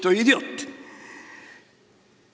Kto idjot?".